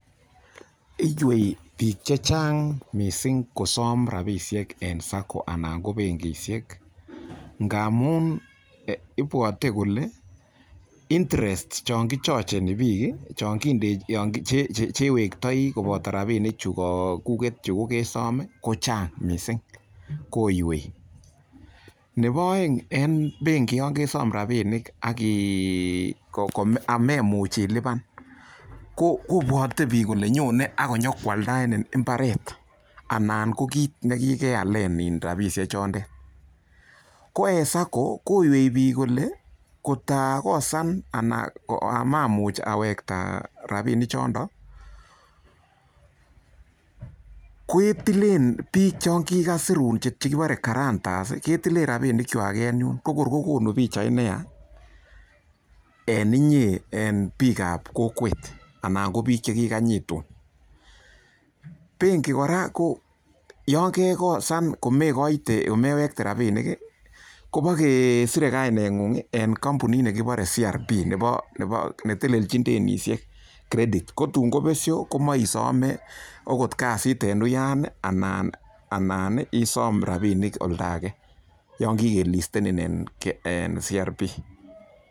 Iywei biik che chang mising kosom rabishek en SACCO anan ko benkishek ngamun ibwote kole interest chon kichocheni biik, che iwektooi koboto rabinik chukokuget chu kogesom ko chang mising, ko iywei. Nebo oeng en benki yon kesom rabinik ak amemuch ilipan kobwote biik kole nyone ak konyokoaldaenin mbaret anan ko kiiit ne kigealen rabishek chondet. Ko en SACCO ko iywei biik kole ngakosan anan mamuch awekta rabinik chondon ketilen biik chon kigasirun che kibore guarantors ketilen rabinikwak en yun, ko kor ko konu pichait ne yaa en inye en biik ab kokwet anan ko biik che kiganyitun. Benki kora ko yon kegosan komekoite komewekte rabinik, kobokesire kaineng'ung en kompunit nekibore CRB nebo ne telelchin denisiek credit kotun ko besyo komoisome agot kasit en uyan anan isom rabinik oldo age yon kigelistenin en CRB.